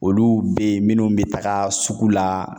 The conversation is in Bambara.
Olu be yen minnu be taga sugu la.